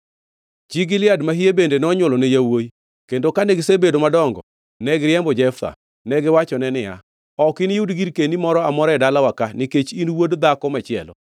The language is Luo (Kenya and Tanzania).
Chi Gilead mahie bende nonywolone yawuowi, kendo kane gisebedo madongo, ne giriembo Jeftha. Negiwachone niya, “Ok iniyud girkeni moro amora e dalawa ka, nikech in wuod dhako machielo.”